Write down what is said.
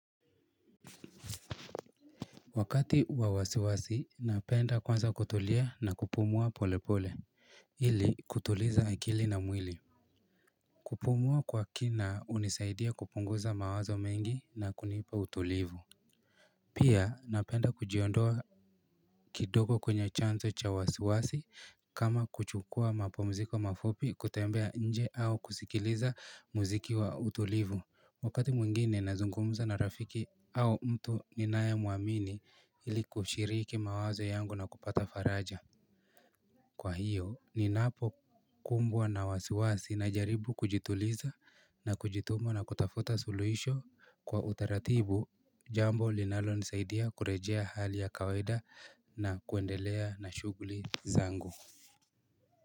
Wakati wa wasiwasi, napenda kwanza kutulia na kupumua polepole, ili kutuliza akili na mwili. Kupumua kwa kina unisaidia kupunguza mawazo mengi na kunipa utulivu. Pia, napenda kujiondoa kidogo kwenye chanzo cha wasiwasi kama kuchukua mapumziko mafupi kutembea nje au kusikiliza muziki wa utulivu. Wakati mwingine nazungumza na rafiki au mtu ninae muamini ili kushiriki mawazo yangu na kupata faraja Kwa hiyo ninapo kumbwa na wasiwasi na jaribu kujituliza na kujituma na kutafuta suluhisho kwa utaratibu jambo linalonisaidia kurejea hali ya kawaida na kuendelea na shuguli zangu.